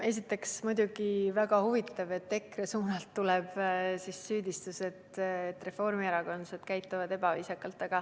Esiteks on muidugi väga huvitav, et EKRE suunalt tulevad süüdistused, et reformierakondlased käituvad ebaviisakalt.